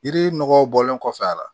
Yiri nɔgɔw bɔlen kɔfɛ a la